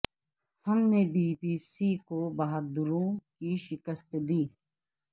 ہم نے B B C کو بہادروں کو شکست دی